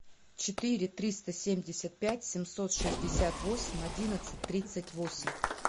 четыре триста семьдесят пять семьсот шестьдесят восемь одиннадцать тридцать восемь